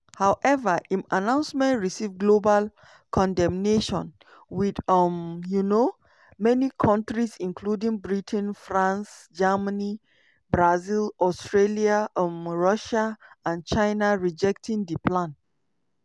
however im announcement receive global condemnation wit um um many kontris including britain france germany brazil australia um russia and china rejecting di plan.